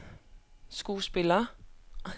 skuespiller